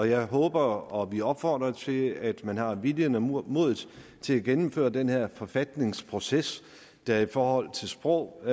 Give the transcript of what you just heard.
jeg håber og vi opfordrer til at man har viljen og modet til at gennemføre den her forfatningsproces der i forhold til sprog og